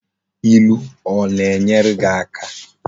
Ilu o na enwere gi aka?